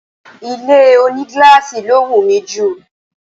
Ilé ònígíláàsì ló wù mí jù